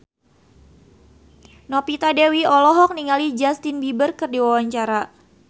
Novita Dewi olohok ningali Justin Beiber keur diwawancara